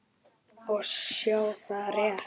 Og sjá, það er rétt.